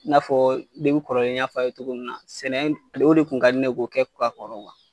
N'a fɔ depi kɔrɔlen n y'a fɔ ye cogo min na sɛnɛ o de kun ka di ne ye ka kɔrɔ wa